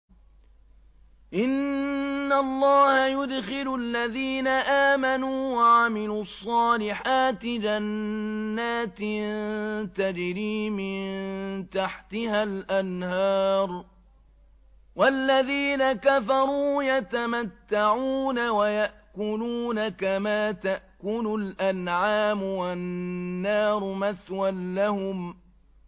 إِنَّ اللَّهَ يُدْخِلُ الَّذِينَ آمَنُوا وَعَمِلُوا الصَّالِحَاتِ جَنَّاتٍ تَجْرِي مِن تَحْتِهَا الْأَنْهَارُ ۖ وَالَّذِينَ كَفَرُوا يَتَمَتَّعُونَ وَيَأْكُلُونَ كَمَا تَأْكُلُ الْأَنْعَامُ وَالنَّارُ مَثْوًى لَّهُمْ